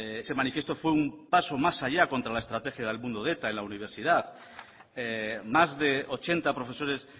ese manifiesto fue un paso más allá contra la estrategia del mundo de eta en la universidad más de ochenta profesores